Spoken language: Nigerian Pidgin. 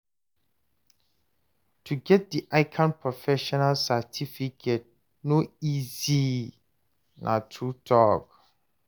to get dat ICAN professional certificate no easy, na true talk